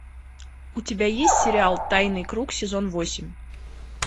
у тебя есть сериал тайный круг сезон восемь